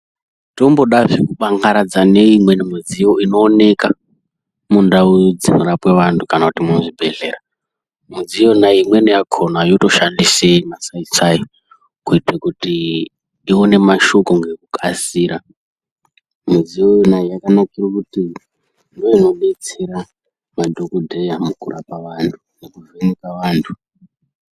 Tombodazve kubangaradza, neimweni midziyo inooneka, mundau dzinorapwa vanthu, kana kuti muzvibhedhlera. Mudziyo yona iyi, imweni yakhona yotoshandisa masai-sai, kuita kuti ione mashoko ngekukasira. Midziyo yona iyi yakanakira kuti ngeunobetsera madhokodheya mukurapa vanthu nekuvheneka vanthu.